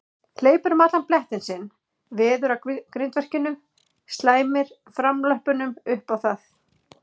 Hleypur um allan blettinn sinn, veður að grindverkinu, slæmir framlöppunum upp á það.